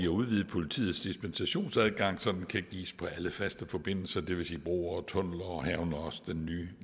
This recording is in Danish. udvide politiets dispensationsadgang så den kan gives på alle faste forbindelser det vil sige broer og tunneller og herunder også den nye